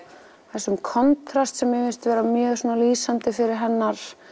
þessum kontrast sem mér finnst vera mjög lýsandi fyrir hennar